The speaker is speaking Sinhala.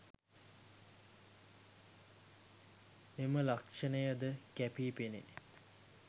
මෙම ලක්ෂණය ද කැපී පෙනේ.